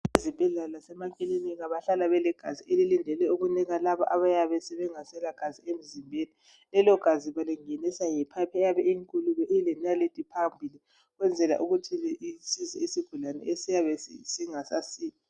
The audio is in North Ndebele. Ezibhedlela lasemakilinika bahlala belegazi elilindelwe ukunika laba abayabe bengasela gazi emzimbeni lelo gazi balingenisa nge phayiphi eyabe inkulu ilenalithi phambili ukwenzela ukuthi isize isigulane esiyabe singasasili.